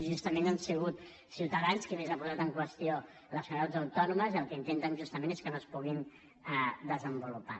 justament ha sigut ciutadans qui més ha posat en qüestió les comunitats autònomes i el que intenten justament és que no es puguin desenvolupar